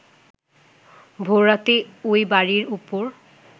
ভোররাতে এই বাড়ীর ওপর